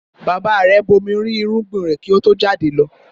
Bàbá rẹ̀ bomirin irúgbìn rẹ̀ kí ó tó jádẹlọ